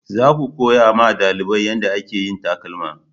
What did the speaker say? Za ku koya ma dalibai yanda a ke yin takalma!